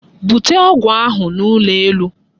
Bute ọgwụ ahụ n'ụlọ elu!